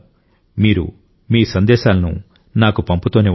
మీరు మీ సందేశాలను నాకు పంపుతూనే ఉండండి